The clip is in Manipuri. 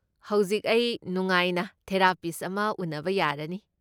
ꯍꯧꯖꯤꯛ ꯑꯩ ꯅꯨꯡꯉꯥꯏꯅ ꯊꯦꯔꯥꯄꯤꯁꯠ ꯑꯃ ꯎꯅꯕ ꯌꯥꯔꯅꯤ꯫